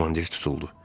Komandir tutuldu.